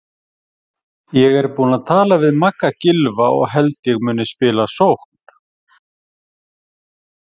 Ég er búinn að tala við Magga Gylfa og held ég muni spila í sókn.